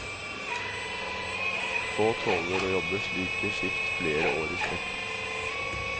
Få tåler å jobbe slike skift flere år i strekk.